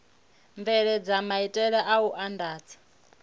bveledza maitele a u andadza